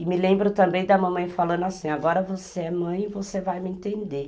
E me lembro também da mamãe falando assim, agora você é mãe, você vai me entender.